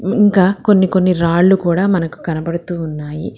ఇంకా కొన్ని కొన్ని రాళ్లు కూడా మనకు కనబడుతూ ఉన్నాయి.